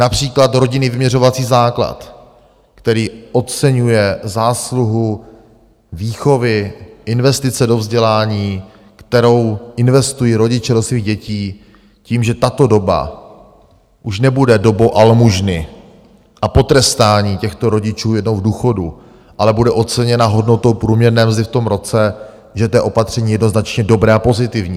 Například rodinný vyměřovací základ, který oceňuje zásluhu výchovy, investice do vzdělání, kterou investují rodiče do svých dětí, tím, že tato doba už nebude dobou almužny a potrestání těchto rodičů jednou v důchodu, ale bude oceněna hodnotou průměrné mzdy v tom roce, že to je opatření jednoznačně dobré a pozitivní.